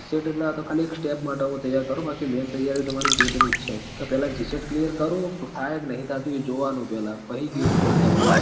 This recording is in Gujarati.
GSET એટલે આ તો ખાલી એક step માટ હું તૈયાર કરું બાકી main તૈયારી તો મારી GATE ની જ છ ક પેલા GSET clear કરું થાય કે નહીં થાતી એ જોવાનું હ પેલા પહી GATE ઉપર જવાનું